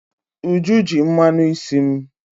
Uju ji mmanụ isi m.